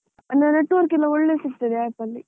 ಅಂದ್ರೆ network ಎಲ್ಲ ಒಳ್ಳೆ ಸಿಕ್ತದೆ, apps ಅಲ್ಲಿ.